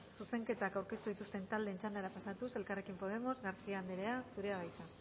zuzenketak aurkeztu dituzten taldeen txandara pasatuz elkarrekin podemos garcía anderea zurea da hitza